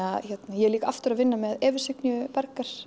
ég er líka aftur að vinna með Evu Signýju